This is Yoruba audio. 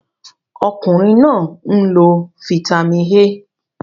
Okunrin naa n lo Fítàmì A.